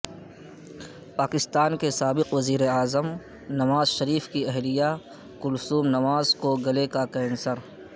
پاکستان کے سابق وزیر اعظم نواز شریف کی اہلیہ کلثوم نواز کو گلے کا کینسر